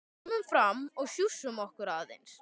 Komum fram og sjússum okkur aðeins.